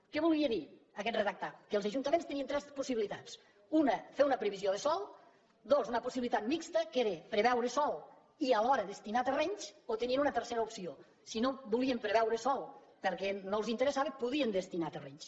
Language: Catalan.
què volia dir aquest redactat que els ajuntaments tenien tres possibilitats una fer una previsió de sòl dos una possibilitat mixta que era preveure sòl i alhora destinar hi terrenys o tenien una tercera opció si no volien preveure sòl perquè no els interessava podien destinar hi terrenys